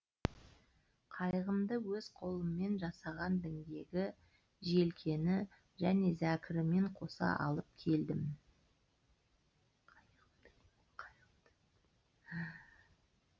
қайығымды өз қолыммен жасаған діңгегі желкені және зәкірімен қоса алып келдім